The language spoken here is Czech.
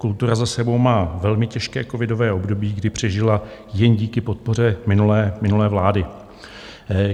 Kultura za sebou má velmi těžké covidové období, kdy přežila jen díky podpoře minulé vlády.